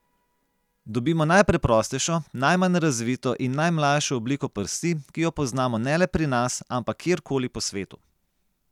Dobimo najpreprostejšo, najmanj razvito in najmlajšo obliko prsti, ki jo poznamo ne le pri nas, ampak kjerkoli po svetu.